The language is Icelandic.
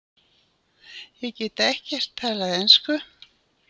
Ég get ekkert talað ensku.